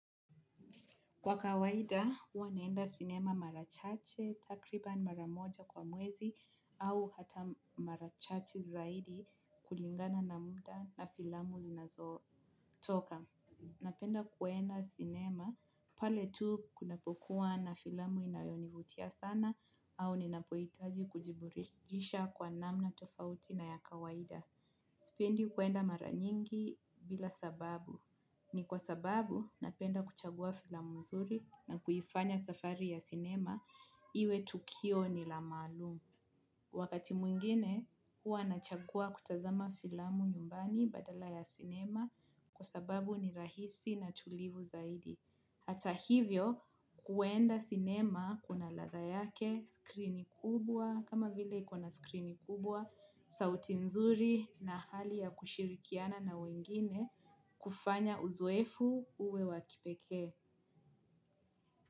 Kwa kawaida, huwanaenda sinema marachache, takriban maramoja kwa mwezi au hata marachache zaidi kulingana na muda na filamu zinazotoka. Napenda kuenda sinema pale tu kuna pokua na filamu inayonivutia sana au ninapohitaji kujiburidisha kwa namna tofauti na ya kawaida. Sipendi kuenda mara nyingi bila sababu. Ni kwa sababu napenda kuchagua filamu nzuri na kuifanya safari ya sinema iwe tukio ni la maalum. Wakati mwingine huwa nachagua kutazama filamu nyumbani badala ya sinema kwa sababu ni rahisi na tulivu zaidi. Hata hivyo kuenda cinema kuna ladha yake, skrini kubwa, kama vile ikona skrini kubwa, sauti nzuri na hali ya kushirikiana na wengine kufanya uzoefu uwe wakipekee.